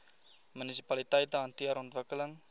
munisipaliteite hanteer ontwikkeling